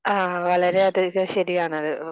അഹ് വളരെ അധികം ശെരിയാണ്